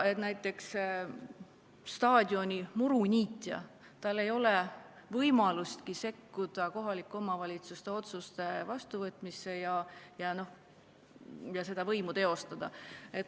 Näiteks, staadioni muruniitjal ei ole võimalustki sekkuda kohaliku omavalitsuse otsuste vastuvõtmisesse ja seda võimu teostada.